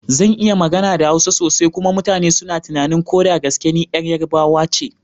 Zan iya magana da Hausa sosai kuma mutane suna tunanin ko da gaske ni yar Yarbawa ce?